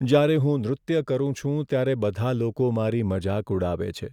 જ્યારે હું નૃત્ય કરું છું, ત્યારે બધા લોકો મારી મજાક ઉડાવે છે.